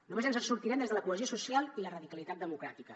només ens en sortirem des de la cohesió social i la radicalitat democràtica